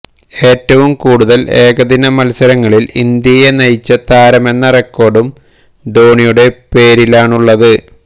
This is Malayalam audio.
ഏറ്റവും കൂടുതൽ ഏകദിന മത്സരങ്ങളിൽ ഇന്ത്യയെ നയിച്ച താരമെന്ന റെക്കോർഡും ധോണിയുടെ പേരിലാണുള്ളത്